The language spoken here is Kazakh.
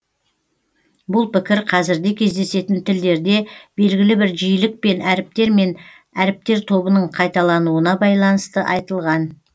бұл пікір қазірде кездесетін тілдерде белгілі бір жиілікпен әріптер мен әріптер тобының қайталануына байланысты айтылған